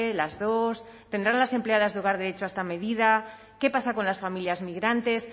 las dos tendrán las empleadas de hogar derecho a esta medida qué pasa con las familias migrantes